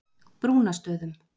Brúnastöðum